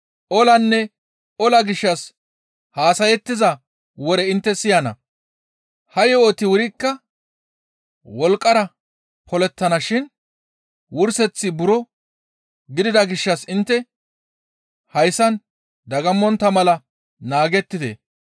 Olanne ola gishshas haasayettiza wore intte siyana. Ha yo7oti wurikka wolqqara polettana shin wurseththi buro gidida gishshas intte hayssan dagammontta mala naagettite.